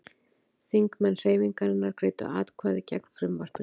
Þingmenn Hreyfingarinnar greiddu atkvæði gegn frumvarpinu